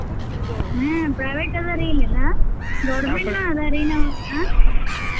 ಹ್ಮ್ private ಅದಾರಿ ಇಲ್ಲೆ ಎಲ್ಲಾ government ನೂ ಅದರಿ ನಾವ್ ನ.